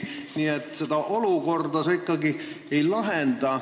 Nii et olukorda see ikkagi ei lahenda.